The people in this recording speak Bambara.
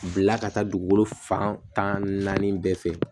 Bila ka taa dugukolo fan tan naani bɛɛ fɛ